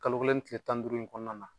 Kalo kelen ni tile tan ni duuru in kɔnɔna na